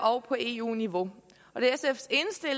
og på eu niveau og det